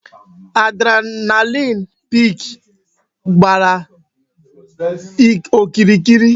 Adrenaline peak gbàrà okirikiri